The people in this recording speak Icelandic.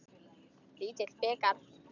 Lítill bikar.